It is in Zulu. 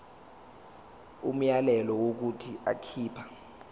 umyalelo wokuthi akhipha